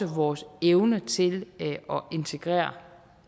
vores evne til at integrere